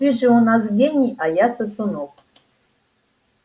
ты же у нас гений а я сосунок